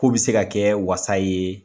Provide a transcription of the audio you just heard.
K'o bi se ka kɛ wasa yee